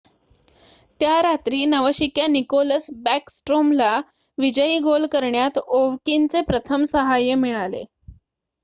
त्या रात्री नवशिक्या निकोलस बॅकस्ट्रोमला विजयी गोल करण्यात ओव्हकिनचे प्रथम सहाय्य मिळाले